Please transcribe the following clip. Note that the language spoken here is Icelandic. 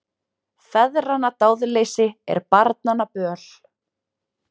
Feðranna dáðleysi er barnanna böl.